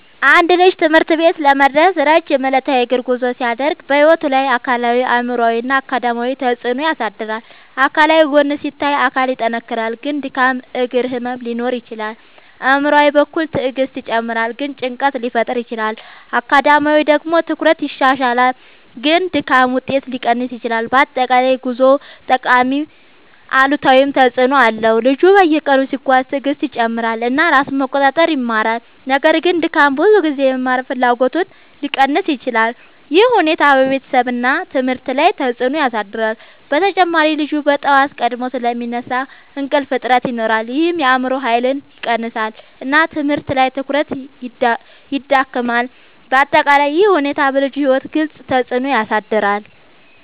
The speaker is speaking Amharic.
አንድ ልጅ ትምህርት ቤት ለመድረስ ረጅም ዕለታዊ የእግር ጉዞ ሲያደርግ በሕይወቱ ላይ አካላዊ አእምሯዊ እና አካዳሚያዊ ተፅዕኖ ያሳድራል። አካላዊ ጎን ሲታይ አካል ይጠናከራል ግን ድካም እግር ህመም ሊኖር ይችላል። አእምሯዊ በኩል ትዕግስት ይጨምራል ግን ጭንቀት ሊፈጠር ይችላል። አካዳሚያዊ ደግሞ ትኩረት ይሻሻላል ግን ድካም ውጤት ሊቀንስ ይችላል። በአጠቃላይ ጉዞው ጠቃሚም አሉታዊም ተፅዕኖ አለው። ልጁ በየቀኑ ሲጓዝ ትዕግስቱ ይጨምራል እና ራሱን መቆጣጠር ይማራል። ነገር ግን ድካም ብዙ ጊዜ የመማር ፍላጎትን ሊቀንስ ይችላል። ይህ ሁኔታ በቤተሰብ እና ትምህርት ላይ ተጽዕኖ ያሳድራል። በተጨማሪ ልጁ በጠዋት ቀድሞ ስለሚነሳ እንቅልፍ እጥረት ይኖራል ይህም የአእምሮ ኃይልን ይቀንሳል እና ትምህርት ላይ ትኩረት ይዳክማል። በአጠቃላይ ይህ ሁኔታ በልጁ ሕይወት ግልጽ ተፅዕኖ ያሳድራል።